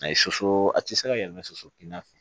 A ye soso a tɛ se ka yɛlɛ soso kinna fɛ